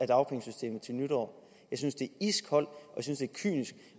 dagpengesystemet til nytår jeg synes det er iskoldt og kynisk